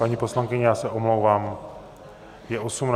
Paní poslankyně, já se omlouvám, je 18 hodin.